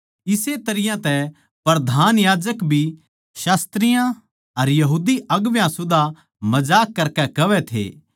इस्से तरियां तै प्रधान याजक भी शास्त्रियाँ अर यहूदी अगुवां सुदा मजाक करकै कहवै थे